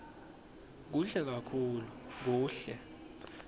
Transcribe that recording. kuhle kakhulu kuhle